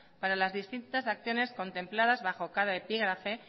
para las distintas acciones contempladas bajo cada epígrafe